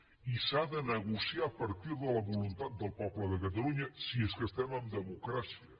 i s’ha de negociar a partir de la voluntat del poble de catalunya si és que estem en democràcia